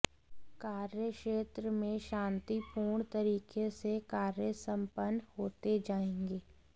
कार्यक्षेत्र में शांतिपूर्ण तरीके से कार्य संपन्न होते जाएंगे